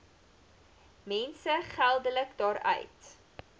mense geldelik daaruit